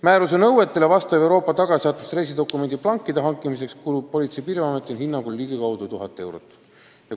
Määruse nõuetele vastava Euroopa tagasisaatmise reisidokumendi plankide hankimiseks kulub Politsei- ja Piirivalveameti hinnangul ligikaudu 1000 eurot.